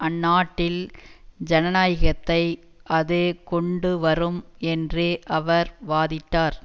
அந்நாட்டில் ஜனநாயகத்தை அது கொண்டு வரும் என்று அவர் வாதிட்டார்